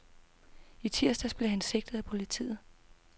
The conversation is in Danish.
I tirsdags blev han sigtet af politiet.